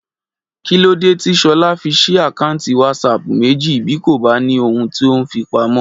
Kí lóde tí Ṣọlá fi ṣí àkáǹtì WhatsApp méjì bí kò bá ní ohun tó ń fi pamọ́?